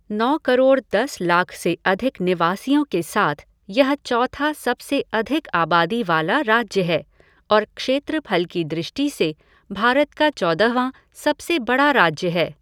नौ करोड़ दस लाख से अधिक निवासियों के साथ यह चौथा सबसे अधिक आबादी वाला राज्य है और क्षेत्रफल की दृष्टि से भारत का चौदहवाँ सबसे बड़ा राज्य है।